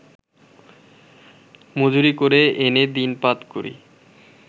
মজুরী করে এনে দিনপাত করি